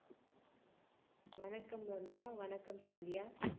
வணக்கம் ரம்யா வணக்கம் சந்தியா